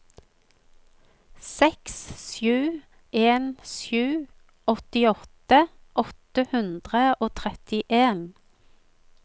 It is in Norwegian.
seks sju en sju åttiåtte åtte hundre og trettien